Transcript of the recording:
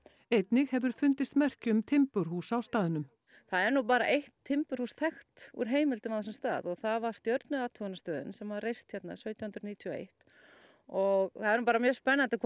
einnig hefur fundist merki um timburhús á staðnum það er nú bara eitt timburhús þekkt úr heimildum á þessum stað og það var stjörnuathuganastöðin sem var reist hér sautján hundruð níutíu og eitt og það er nú bara mjög spennandi hvort